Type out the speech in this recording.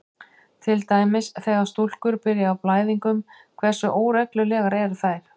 Til dæmis: Þegar stúlkur byrja á blæðingum, hversu óreglulegar eru þær?